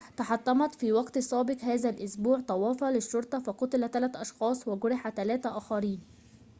تحطمت في وقت سابق هذا الأسبوع طوافة للشرطة فقُتل 3 أشخاص وجُرح 3 آخرين